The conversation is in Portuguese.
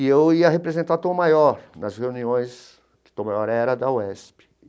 E eu ia representar o Tom Maior nas reuniões, que Tom Maior era da UESP.